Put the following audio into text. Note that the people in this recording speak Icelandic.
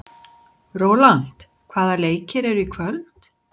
Rólant, hvaða leikir eru í kvöld?